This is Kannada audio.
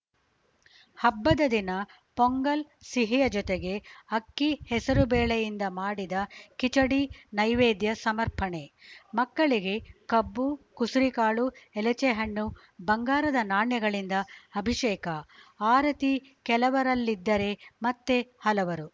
ಹಬ್ಬದ ದಿನ ಪೊಂಗಲ್‌ ಸಿಹಿಯ ಜೊತೆಗೆ ಅಕ್ಕಿಹೆಸರು ಬೇಳೆಯಿಂದ ಮಾಡಿದ ಕಿಚಡಿ ನೈವೇದ್ಯ ಸಮರ್ಪಣೆ ಮಕ್ಕಳಿಗೆ ಕಬ್ಬು ಕುಸುರಿಕಾಳು ಎಲಚೆಹಣ್ಣು ಬಂಗಾರದ ನಾಣ್ಯಗಳಿಂದ ಅಭಿಷೇಕ ಆರತಿ ಕೆಲವರಲ್ಲಿದ್ದರೆ ಮತ್ತೆ ಹಲವರು